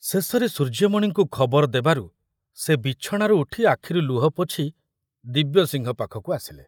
ଶେଷରେ ସୂର୍ଯ୍ୟମଣିଙ୍କୁ ଖବର ଦେବାରୁ ସେ ବିଛଣାରୁ ଉଠି ଆଖିରୁ ଲୁହ ପୋଛି ଦିବ୍ୟସିଂହ ପାଖକୁ ଆସିଲେ।